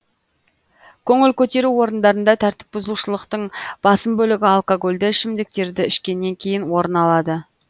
көңіл көтеру орындарында тәртіп бұзушылықтың басым бөлігі алкогольді ішімдіктерді ішкеннен кейін орын алады